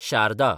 Sharda